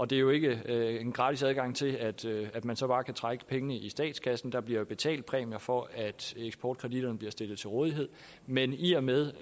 det er jo ikke en gratis adgang til at at man så bare kan trække pengene i statskassen der bliver betalt præmier for at eksportkreditterne bliver stillet til rådighed men i og med